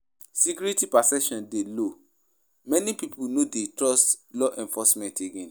Security perception dey low; many pipo no dey trust law enforcement again.